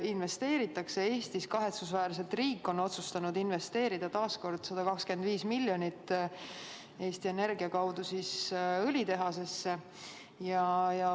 Eesti riik on kahetsusväärselt otsustanud investeerida taas kord 125 miljonit eurot Eesti Energia kaudu õlitehasesse.